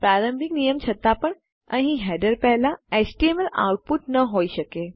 પ્રારંભિક નિયમ છતાં પણ અહીં હેડર પહેલા એચટીએમએલ આઉટપુટ ન હોય શકે